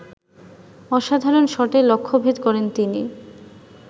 অসাধারণ শটে লক্ষ্যভেদ করেন তিনি